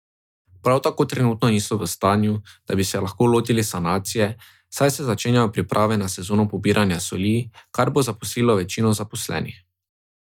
Prav tako trenutno niso v stanju, da bi se lahko lotili sanacije, saj se začenjajo priprave na sezono pobiranja soli, kar bo zaposlilo večino zaposlenih.